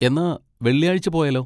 എന്നാ വെള്ളിയാഴ്ച പോയാലോ?